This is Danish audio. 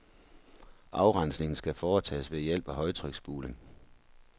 Afrensningen skal foretages ved hjælp af højtryksspuling.